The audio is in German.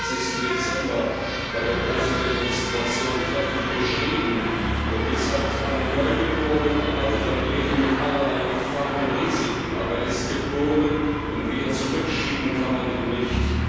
24. Dezember bei der großen Demonstration treffend beschrieben und gesagt, einen Neugeborenen erwartet ein Leben mit allerlei Gefahren und Risiken, aber er ist geboren und wieder zurückschieben kann man ihn nicht.